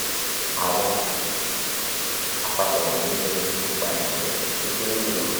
awọn apapo wọnyi ni ipa ẹgbẹ ti o kere julọ